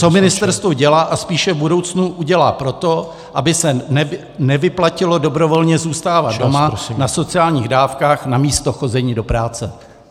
Co ministerstvo dělá a spíše v budoucnu udělá pro to, aby se nevyplatilo dobrovolně zůstávat doma na sociálních dávkách namísto chození do práce?